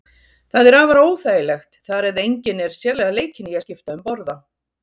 Það er afar óþægilegt þar eð enginn er sérlega leikinn í að skipta um borða.